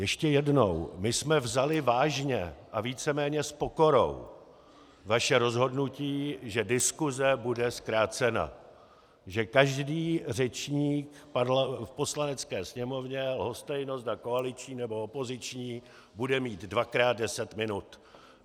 Ještě jednou - my jsme vzali vážně a víceméně s pokorou vaše rozhodnutí, že diskuse bude zkrácena, že každý řečník v Poslanecké sněmovně, lhostejno zda koaliční nebo opoziční, bude mít dvakrát deset minut.